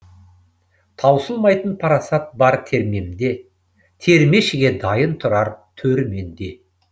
таусылмайтын парасат бар термемде термешіге дайын тұрар төр менде